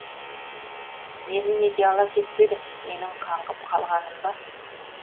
мені неге ала кетпедің менің қаңғып қалғаным ба